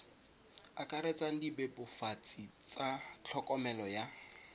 akaretsang dibebofatsi tsa tlhokomelo ya